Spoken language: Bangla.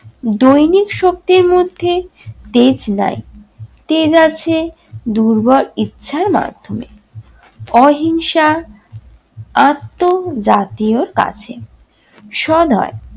দৈনিক শক্তির মধ্যে তেজ নাই। তেজ আছে দুর্বল ইচ্ছার মাধ্যমে, অহিংসা আত্ম জাতীয়র কাছে। সদয়